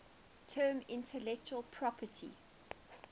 term intellectual property